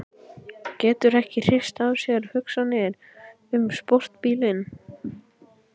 Getur ekki hrist af sér hugsanirnar um sportbílinn.